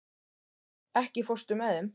Tór, ekki fórstu með þeim?